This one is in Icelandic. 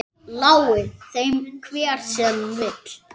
Lái þeim hver sem vill.